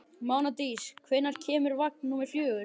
Mánadís, hvenær kemur vagn númer fjögur?